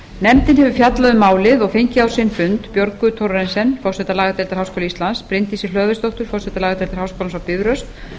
nefndin hefur fjallað um málið um málið og fengið á sinn fund björgu thorarensen forseta lagadeildar háskóla íslands bryndísi hlöðversdóttur forseta lagadeildar háskólans á bifröst